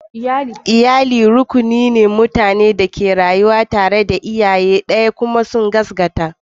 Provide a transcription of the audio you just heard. Iyali rukuni ne na mutanen da ke rayuwa tare da iyaye ɗaya kuma sun gaskata.